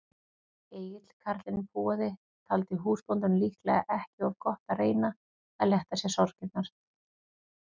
Egill karlinn púaði, taldi húsbóndanum líklega ekki of gott að reyna að létta sér sorgirnar.